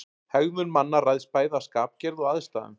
Hegðun manna ræðst bæði af skapgerð og aðstæðum.